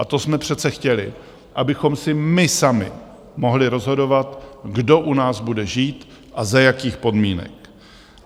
A to jsme přece chtěli, abychom si my sami mohli rozhodovat, kdo u nás bude žít a za jakých podmínek.